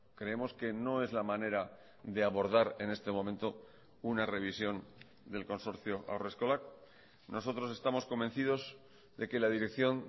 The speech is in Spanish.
creemos que no es la manera de abordar en este momento una revisión del consorcio haurreskolak nosotros estamos convencidos de que la dirección